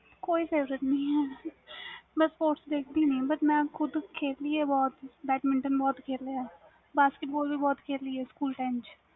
ਕੋਈ ਨਹੀਂ favourite ਮੈਂ ਦੇਖ ਦੀ ਨਹੀਂ sports ਬਸ ਮੈਂ ਖੁਦ ਖੇਲੀ ਵ ਬਹੁਤ badminton ਬਹੁਤ ਖੇਲਿਆ ਵੀ basketball ਬਹੁਤ ਖੇਲੀ ਆ